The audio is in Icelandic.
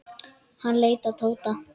Hann leit til Tóta.